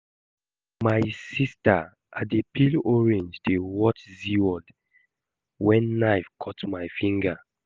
My sister, I dey peel orange dey watch zeaworld wen knife cut my finger